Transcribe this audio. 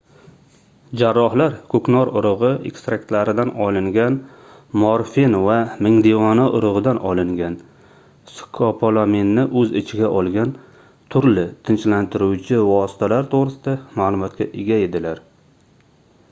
jarrohlar koʻknor urugʻi ekstraktlaridan olingan morfin va mingdevona urugʻidan olingan skopolaminni oʻz ichiga olgan turli tinchlantiruvchi vositalar toʻgʻrisida maʼlumotga ega edilar